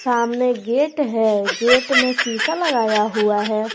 सामने गेट है गेट में शीशा लगाया हुआ है।